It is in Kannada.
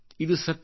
ಇದುಸತ್ಯ